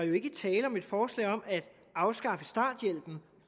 jo ikke er tale om et forslag om at afskaffe starthjælpen